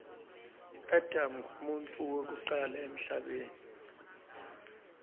adam nqumuntfu wekucala emhlabeni